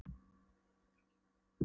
Þar fékk ég hrós og mikla hvatningu.